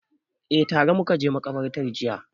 Eh, tare muka je maƙabarta jiya